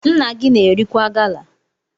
Nna gi na-erikwa gala?